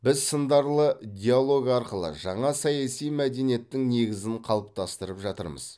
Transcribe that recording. біз сындарлы диалог арқылы жаңа саяси мәдениеттің негізін қалыптастырып жатырмыз